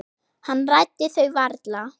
Hann ræddi þau varla.